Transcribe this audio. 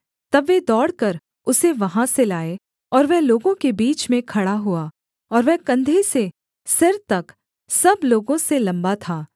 तब वे दौड़कर उसे वहाँ से लाए और वह लोगों के बीच में खड़ा हुआ और वह कंधे से सिर तक सब लोगों से लम्बा था